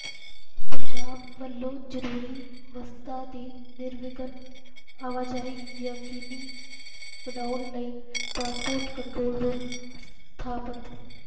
ਪੰਜਾਬ ਵੱਲੋਂ ਜ਼ਰੂਰੀ ਵਸਤਾਂ ਦੀ ਨਿਰਵਿਘਨ ਆਵਾਜਾਈ ਯਕੀਨੀ ਬਣਾਉਣ ਲਈ ਟਰਾਂਸਪੋਰਟ ਕੰਟਰੋਲ ਰੂਮ ਸਥਾਪਤ